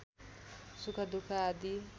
सुख दुख आदि